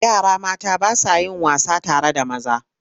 Yara mata ba sa yin wasa tare da maza.